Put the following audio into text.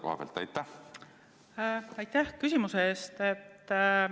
Aitäh küsimuse eest!